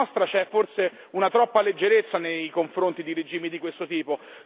Da parte nostra c'è forse una troppa leggerezza nei confronti di regimi di questo tipo.